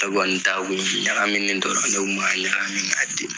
Yakuba nunnu taaga kun ɲagamini dɔrɔn, n'o kun b'a ɲagamin ka di man.